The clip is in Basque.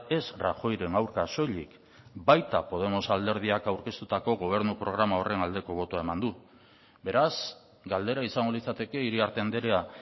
ez rajoyren aurka soilik baita podemos alderdiak aurkeztutako gobernu programa horren aldeko botoa eman du beraz galdera izango litzateke iriarte andrea